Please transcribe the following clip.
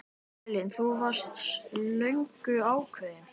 Elín: Þú varst löngu ákveðin?